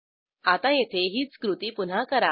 आता येथे हीच कृती पुन्हा करा